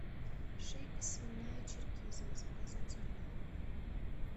шейка свиная черкизово заказать онлайн